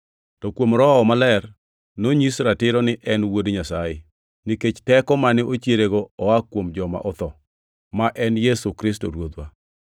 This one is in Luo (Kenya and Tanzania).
To kuom Roho Maler nonyis ratiro ni en Wuod Nyasaye, nikech teko mane ochierego koa kuom joma otho, ma en Yesu Kristo Ruodhwa.